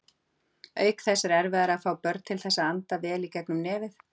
Auk þess er erfiðara að fá börn til þess að anda vel í gegnum nefið.